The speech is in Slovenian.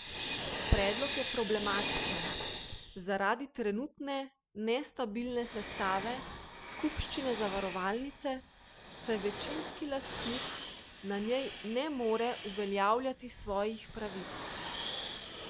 Predlog je problematičen zaradi trenutne nestabilne sestave skupščine zavarovalnice, saj večinski lastnik na njej ne more uveljavljati svojih pravic.